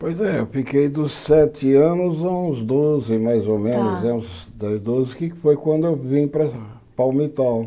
Pois é, eu fiquei dos sete anos aos doze, mais ou menos, Tá que foi quando eu vim para Palmitol.